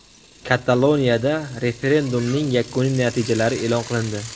Kataloniyada referendumning yakuniy natijalari e’lon qilindi.